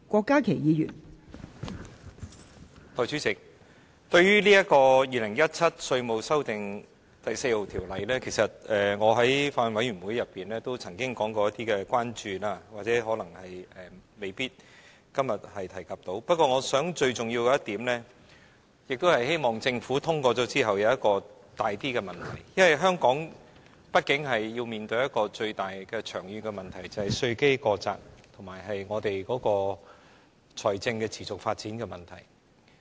代理主席，對於《2017年稅務條例草案》，其實我在法案委員會曾經提出一些關注，今天未必能夠提及，不過，最重要的一點是，我希望政府在《條例草案》通過後，會處理香港所面對的較嚴重的長遠問題，就是稅基過窄和財政持續發展的問題。